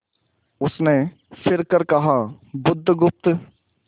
उसने फिर कर कहा बुधगुप्त